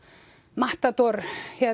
Matador